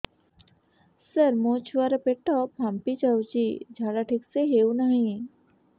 ସାର ମୋ ଛୁଆ ର ପେଟ ଫାମ୍ପି ଯାଉଛି ଝାଡା ଠିକ ସେ ହେଉନାହିଁ